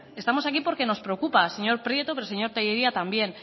estamos aquí porque nos preocupa señor prieto pero señor tellería también